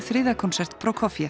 þriðji konsert